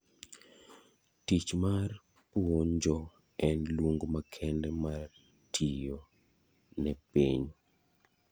Tich mar puonje en luong' makende mar tiyo ne piny.